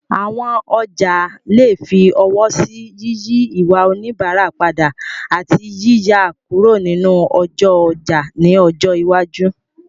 Àwọn ọjà lè fi ọwọ́ sí yíyí ìwà oníbàárà padà, àti yíyà kúrò nínú ọjọ́ ọjà ní ọjọ́ iwájú.